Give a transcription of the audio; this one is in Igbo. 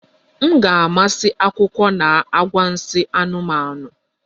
M ga-amasị akụkọ na anwansi anụmanụ